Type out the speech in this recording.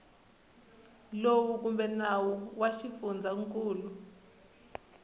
lowu kumbe nawu wa xifundzankulu